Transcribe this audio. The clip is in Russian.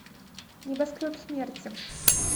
небоскреб смерти